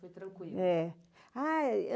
Foi tranquilo. é.